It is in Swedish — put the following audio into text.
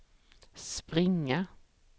springa